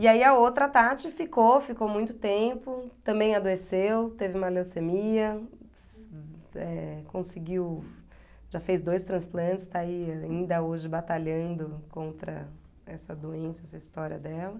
E aí a outra Tati ficou, ficou muito tempo, também adoeceu, teve uma leucemia, eh conseguiu, já fez dois transplantes, está aí ainda hoje batalhando contra essa doença, essa história dela.